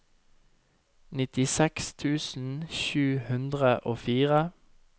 nittiseks tusen sju hundre og fire